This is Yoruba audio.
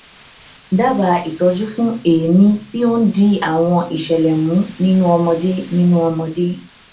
dábàá ìtọjú fún èémí tí ó ń di àwọn ìṣẹlẹ mú nínú ọmọdé nínú ọmọdé